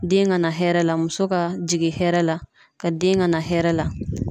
Den ka na hɛrɛ la muso ka jigin hɛrɛ la ka den ka na hɛrɛ la.